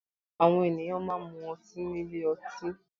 Àwọn ènìyàn máa n mú ọtí nílé ọtí.